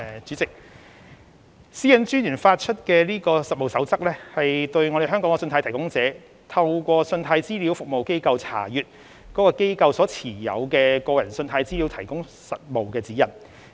主席，私隱專員發出的《實務守則》，為香港的信貸提供者如何透過信貸資料服務機構查閱該機構所持有的個人信貸資料，提供了實務指引。